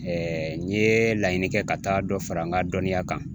n ye laɲini kɛ ka taa dɔ fara n ka dɔnniya kan